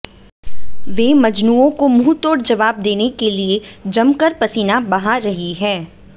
वे मजनुंओं को मुंहतोड़ जवाब देने के लिए जमकर पसीना बहा रही हैं